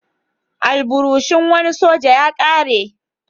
Alburushin wani soja ya ƙare.